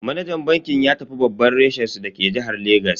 Manajan bankin ya tafi babban reshen su dake jihar Legas.